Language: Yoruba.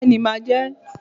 Bẹẹni, màá jẹ́